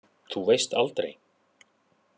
Þú veist aldrei?